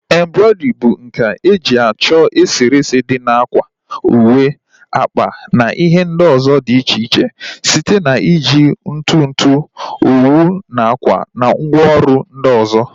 Embrọidrii bụ nkà eji achọ eserese dị na ákwà, uwe, akpa na ihe ndị ọzọ dị iche iche site na iji ntutu, owu nakwa ngwa ọrụ ndị ọzọ